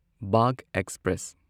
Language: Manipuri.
ꯕꯥꯒ ꯑꯦꯛꯁꯄ꯭ꯔꯦꯁ